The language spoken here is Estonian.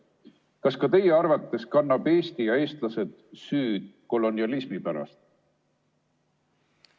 Kas ka teie arvates kannavad Eesti ja eestlased süüd kolonialismi pärast?